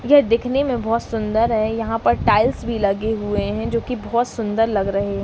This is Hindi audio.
यह दिखने में बहुत सुन्दर है। यहाँ पर टाइल्स भी लगे हुए है जो की बहुत सुन्दर लग रहे है ।